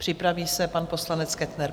Připraví se pan poslanec Kettner.